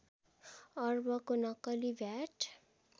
अर्बको नक्कली भ्याट